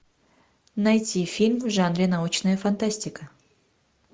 найти фильм в жанре научная фантастика